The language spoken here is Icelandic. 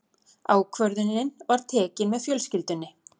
Ákvörðunin var tekin með fjölskyldunni.